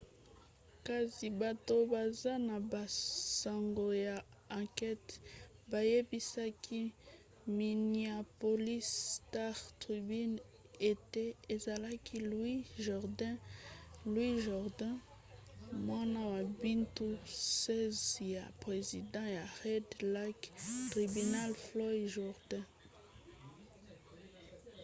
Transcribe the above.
kasi bato baza na basango ya ankete bayebisaki minneapolis star-tribune ete ezalaki louis jourdain mwana ya mibu 16 ya president ya red lake tribal floyd jourdain